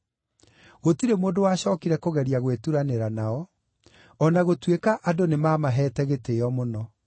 Gũtirĩ mũndũ wacookire kũgeria gwĩturanĩra nao, o na gũtuĩka andũ nĩmamaheete gĩtĩĩo mũno.